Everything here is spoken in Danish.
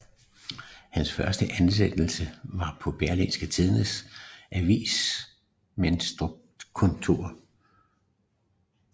Hans første ansættelse var på Berlingske Tidendes avertissementskontor